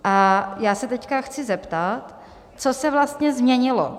A já se teď chci zeptat, co se vlastně změnilo.